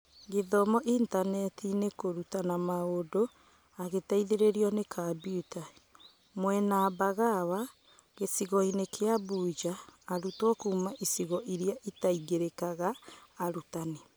Gũthoma intaneti-inĩ, kũrutana mũndũ agĩteithĩrĩrio nĩ kambiuta. Mwena Mbagawa gĩcigoinĩ kĩa Mbunja, arutwo kuuma igico iria itaingĩrĩkaga, arutani